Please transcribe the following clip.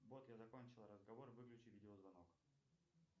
бот я закончил разговор выключи видеозвонок